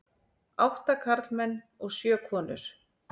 Átta karlmenn og sjö konur.